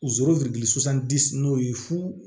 n'o ye fuu